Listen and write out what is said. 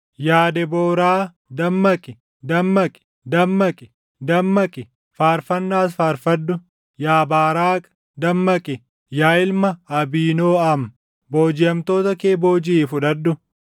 ‘Yaa Debooraa! Dammaqi; dammaqi; dammaqi; dammaqi; faarfannaas faarfadhu! Yaa Baaraaqi! Dammaqi; yaa ilma Abiinooʼam boojiʼamtoota kee boojiʼii fudhadhu.’